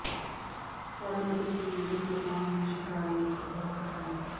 ਫੜਨ ਅਤੇ ਸਮੁੰਦਰੀ ਪਕਵਾਨ ਨੂੰ ਸ਼ਿਕਾਰੀ ਇੱਕ ਬਹੁਤ ਹਨ